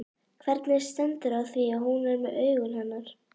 Hvernig stendur á því að hún er með augun hennar?